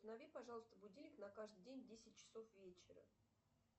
установи пожалуйста будильник на каждый день в десять часов вечера